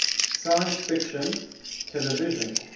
science fiction television